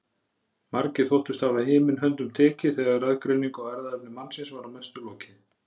Margir þóttust hafa himin höndum tekið þegar raðgreiningu á erfðaefni mannsins var að mestu lokið.